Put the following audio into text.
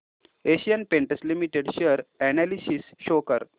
Asian Paints limited share analysis show कर